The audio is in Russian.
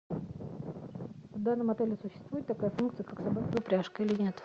в данном отеле существует такая функция как собачья упряжка или нет